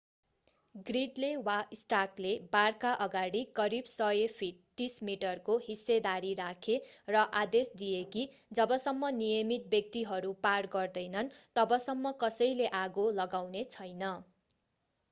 ग्रिडले वा स्टार्कले बारका अगाडि करिब 100 फिट 30 मिटर को हिस्सेदारी राखे र आदेश दिए कि जबसम्म नियमित व्यक्तिहरू पार गर्दैनन् तबसम्म कसैले आगो लगाउनेछैन।